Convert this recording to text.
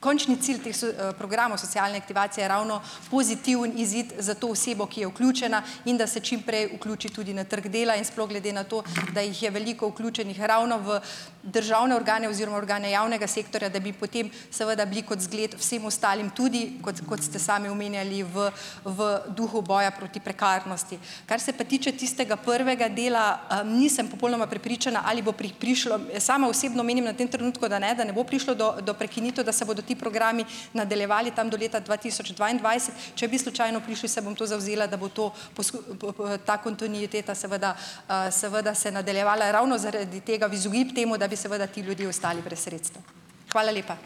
končni cilj teh so programov socialne aktivacije je ravno pozitiven izid za to osebo, ki je vključena, in da se čim prej vključi tudi na trgu dela in sploh, glede na to, da jih je veliko vključenih ravno v državne organe oziroma organe javnega sektorja, da bi potem seveda bili kot zgled vsem ostalim tudi, kot, kot ste sami omenjali, v v duhu boja proti prekarnosti. Kar se pa tiče tistega prvega dela, nisem popolnoma prepričana, ali bo prišlo, sama osebno menim na tem trenutku, da ne, da ne bo prišlo do, do prekinitev, da se bodo ti programi nadaljevali tam do leta dva tisoč dvaindvajset. Če bi slučajno prišli, se bom tu zavzela, da bo to, po po ta kontinuiteta, seveda, seveda se nadaljevala ravno zaradi tega, v izogib temu, da bi seveda ti ljudje ostali brez sredstev. Hvala lepa.